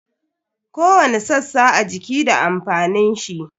Kowani sassa a jiki da amfanin shi.